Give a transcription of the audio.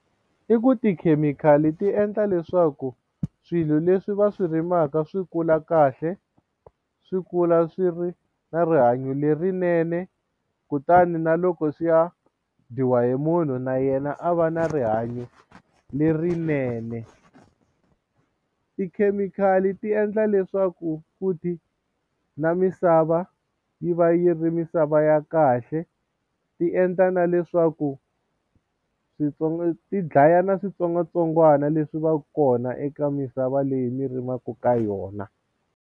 I ku tikhemikhali ti endla leswaku swilo leswi va swi rimaka swi kula kahle swi kula swi ri na rihanyo lerinene kutani na loko swi ya dyiwa hi munhu na yena a va na rihanyo lerinene tikhemikhali ti endla leswaku futhi na misava yi va yi yi ri misava ya kahle ti endla na leswaku switsongo ti dlaya na switsongwatsongwana leswi va ka kona eka misava leyi mi rimaka ka yona.